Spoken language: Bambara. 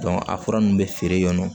a fura ninnu bɛ feere yan nɔ